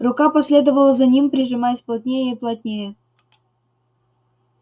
рука последовала за ним прижимаясь плотнее и плотнее